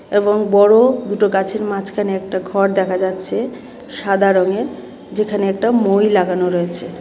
এবং বড় দুটো গাছের মাঝখানে একটা ঘর দেখা যাচ্ছে সাদা রঙের যেখানে একটা মই লাগানো রয়েছে .